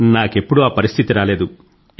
నాకెప్పుడూ ఆ పరిస్థితి రాలేదు